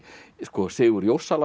Sigurð